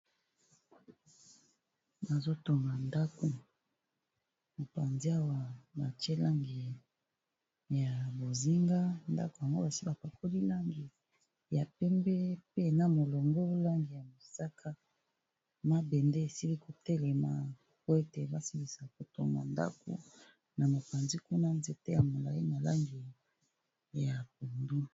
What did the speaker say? Bazo tonga ndaku, mopanzi awa ba tié langi ya bozinga , ndako yango basi ba pakoli langi ya pembe pe na molongo bolangi ya mosaka. M .abende esili kotelema ko ete basilisa kotonga ndako na mopanzi kuna nzete ya molai ma langi ya bungu